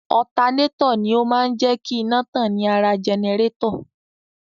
Otaneto ni ó máa ń jé kí iná tàn ní ara jẹnẹrétọ̀.